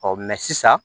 sisan